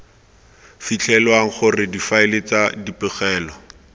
fitlhelwang gore difaele tsa dipegelo